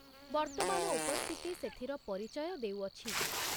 ବର୍ତ୍ତମାନ ଉପସ୍ଥିତି ସେଥିର ପରିଚୟ ଦେଉଅଛି।